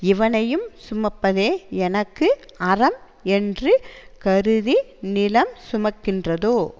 இவனையும் சுமப்பதே எனக்கு அறம் என்று கருதி நிலம் சுமக்கின்றதோ